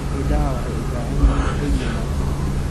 Idaha waxay u baahan yihiin hoy wanaagsan.